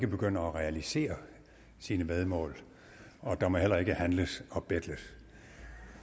begynder at realisere sine væddemål og der må heller ikke handles og betles